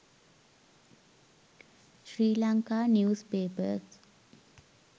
sri lanka news papers